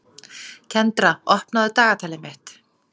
Kendra, opnaðu dagatalið mitt.